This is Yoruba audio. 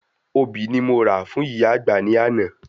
Obì ni mo rà fún ìyá àgbà ní àná